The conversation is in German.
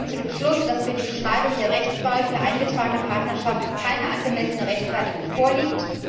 Sie kommt zu dem Schluss, dass für die Beschneidung der Rechtswahl von eingetragenen Partnerschaften keine angemessene Rechtfertigung vorliegt.